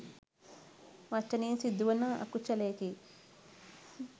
වචනයෙන් සිදුවන අකුශලයකි.